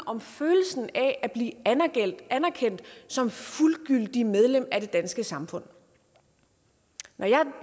om følelsen af at blive anerkendt som fuldgyldigt medlem af det danske samfund når jeg